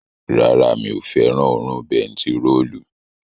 Rárá, mi ò fẹ́ràn òórùn bentiróòlù